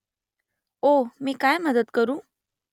ओह मी काय मदत करू ?